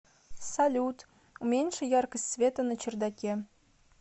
салют уменьши яркость света на чердаке